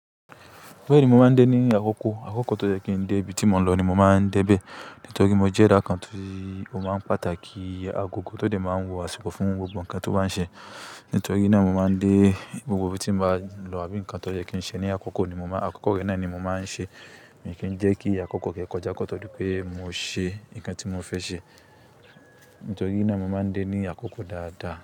Bẹ́ẹ̀ni mo máa ń dé ní àkókò. Àkókò tó jẹ́ kí ń dé ibi tí mo lọ ni mo máa ń dé bẹ́ẹ̀. Nítorí mo jẹ́ ẹ̀dá kan tí ó máa ń pàtàkì agogo tó dé máa ń wọ̀ àsìkò fún gbogbo ǹkan tó bá ń ṣe. Nítorí náà mo máa ń dé gbogbo ibi tí mo bá lọ àbí ǹkan tó jẹ́ kí ń ṣe ní àkókò ni mo máa, àkókò náà ni mo máa ń ṣe. Mii kí ń jẹ́ kí àkókò kí ó kọjá kọ́ tó dípé mo ṣe ǹkan tí mo fẹ́ ṣe nítorí náà mo máa ń dé ní àkókò dáadáa.